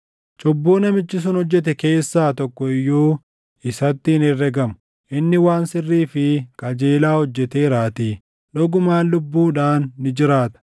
Cubbuu namichi sun hojjete keessaa tokko iyyuu isatti hin herregamu. Inni waan sirrii fi qajeelaa hojjeteeraatii, dhugumaan lubbuudhaan ni jiraata.